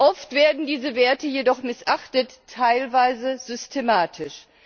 Oft werden diese Werte jedoch missachtet, teilweise systematisch.